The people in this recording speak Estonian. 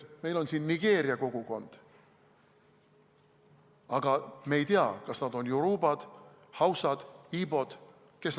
Meil on siin Nigeeria kogukond, aga me ei tea, kas nad on jorubad, hausad, ibod või kes.